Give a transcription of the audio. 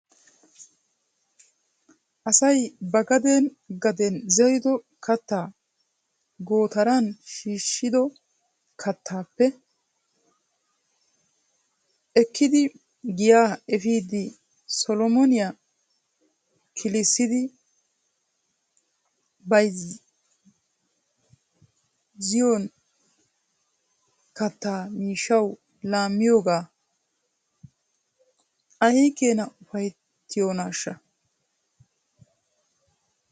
Asa ba gaden gaden zerido kattaa gootaran shiishshido kattaappe ekkidi giyaa efidi solomaniya kilissidi bayzziyoon kattaa miishshaw laamiyoogan aykeenaa ufayttiyoonaashsha